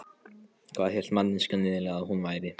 Hvað hélt manneskjan eiginlega að hún væri?